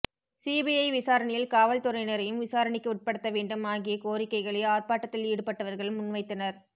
CBI விசாரணையில் காவல்துறையினரையும் விசாரணைக்கு உட்படுத்த வேண்டும் ஆகிய கோரிக்கைகளை ஆர்ப்பாட்டத்தில் ஈடுபட்டவர்கள் முன்வைத்தனர்